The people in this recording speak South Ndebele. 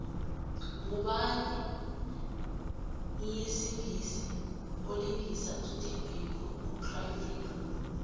ngubani mlisingisi olingisa usteve biko ku cry freedom